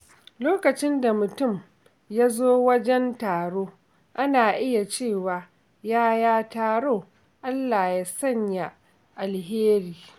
Lokacin da mutum ya zo wajen taro, ana iya cewa “Yaya taro?, Allah ya sanya alheri.”